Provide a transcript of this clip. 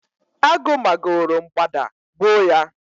agụ ma go ro mgbada gbuo ya